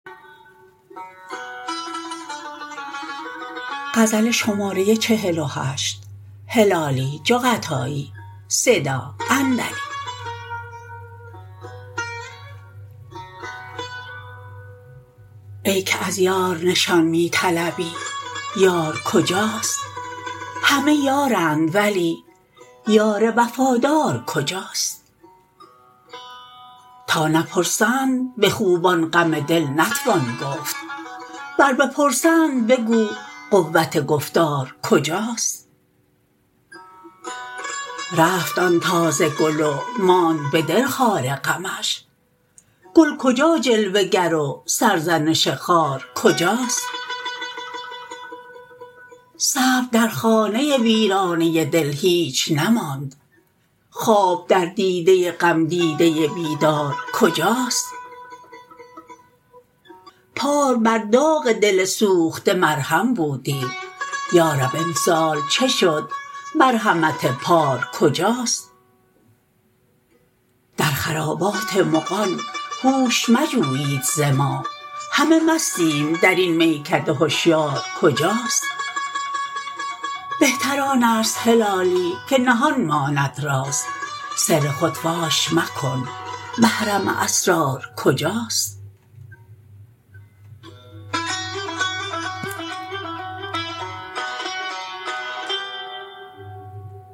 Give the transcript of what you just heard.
ای که از یار نشان می طلبی یار کجاست همه یارند ولی یار وفادار کجاست تا نپرسند بخوبان غم دل نتوان گفت ور بپرسند بگو قوت گفتار کجاست رفت آن تازه گل و ماند بدل خار غمش گل کجا جلوه گر و سرزنش خار کجاست صبر در خانه ویرانه دل هیچ نماند خواب در دیده غمدیده بیدار کجاست پار بر داغ دل سوخته مرهم بودی یارب امسال چه شد مرحمت پار کجاست در خرابات مغان هوش مجویید ز ما همه مستیم درین میکده هشیار کجاست بهتر آنست هلالی که نهان ماند راز سر خود فاش مکن محرم اسرار کجاست